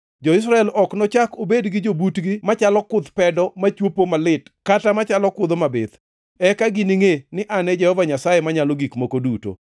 “ ‘Jo-Israel ok nochak obedi gi jobutgi machalo kuth pedo machwopo malit kata machalo kudho mabith. Eka giningʼe ni An e Jehova Nyasaye Manyalo Gik Moko Duto.